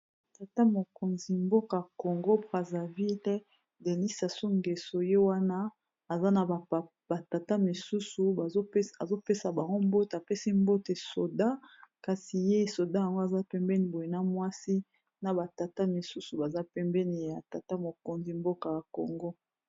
tata mokonzi mboka ya congo braserville denis sasu kensu yo wana aza na batata misusu azopesa baombote apesi mbote soda kasi ye soda yango aza pembeni boye na mwasi na batata misusu baza pembeni ya tata mokonzi mboka ya kongo